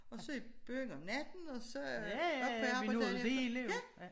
Og så i byen om natten og så op på arbejde dagen efter